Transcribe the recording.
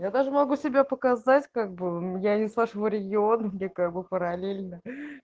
я даже могу себя показать как бы я не с вашего региона мне как бы параллельно